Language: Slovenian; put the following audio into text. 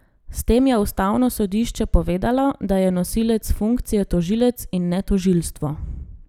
S tem je ustavno sodišče povedalo, da je nosilec funkcije tožilec, in ne tožilstvo.